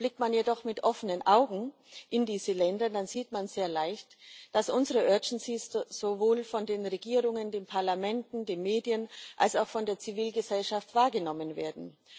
Blickt man jedoch mit offenen Augen in diese Länder, dann sieht man sehr leicht, dass unsere sowohl von den Regierungen, den Parlamenten, den Medien als auch von der Zivilgesellschaft wahrgenommen werden.